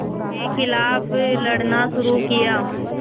के ख़िलाफ़ लड़ना शुरू किया